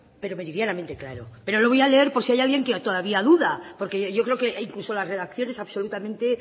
pero meridianamente claro pero lo voy a leer por si hay alguien que todavía duda porque yo creo que incluso las redacción es absolutamente